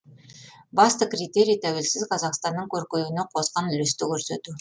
басты критерий тәуелсіз қазақстанның көркеюіне қосқан үлесті көрсету